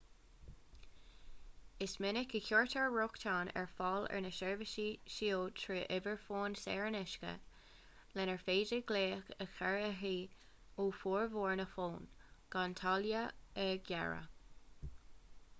is minic a chuirtear rochtain ar fáil ar na seirbhísí seo trí uimhir fóin saor in aisce lenar féidir glaoch a chur uirthi ó fhormhór na bhfón gan táille a ghearradh